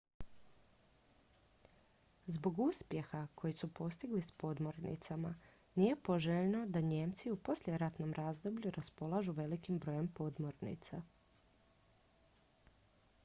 zbog uspjeha koji su postigli s podmornicama nije poželjno da nijemci u poslijeratnom razdoblju raspolažu velikim brojem podmornica